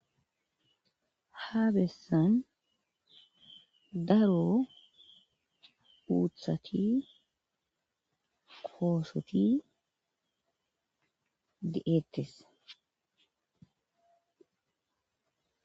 Habessan daro uuthati koosoti de,eettes.